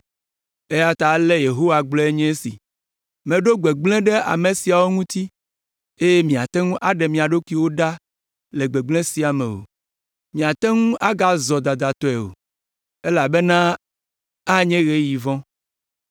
Eya ta ale Yehowa gblɔe nye esi, “Meɖo gbegblẽ ɖe ame siawo ŋuti eye miate ŋu aɖe mia ɖokuiwo ɖa le gbegblẽ sia me o. Miate ŋu agazɔ dadatɔe o elabena anye ɣeyiɣi vɔ̃.